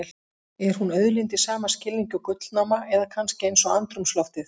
Er hún auðlind í sama skilningi og gullnáma, eða kannski eins og andrúmsloftið?